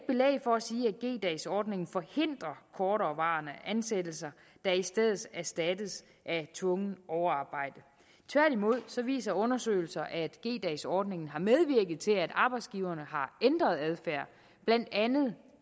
for at sige at g dags ordningen forhindrer korterevarende ansættelser der i stedet erstattes af tvungent overarbejde tværtimod viser undersøgelser at g dags ordningen har medvirket til at arbejdsgiverne har ændret adfærd blandt andet